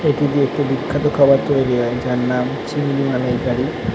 এটি দিয়ে একটি বিখ্যাত খাবার তৈরি হয় যার নাম চিড়িং মালাইকারি।